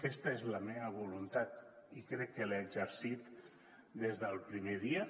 aquesta és la meva voluntat i crec que l’he exercit des del primer dia